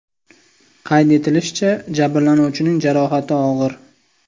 Qayd etilishicha, jabrlanuvchining jarohati og‘ir.